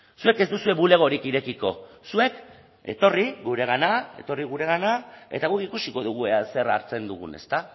zuek ez duzue bulegorik irekiko zuek etorri guregana etorri guregana eta guk ikusiko dugu zer hartzen dugun ezta